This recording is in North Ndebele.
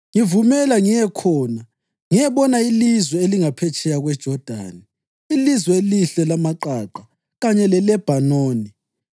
Ngivumela ngiye khona ngiyebona ilizwe elingaphetsheya kweJodani, ilizwe elihle lamaqaqa kanye leLebhanoni.’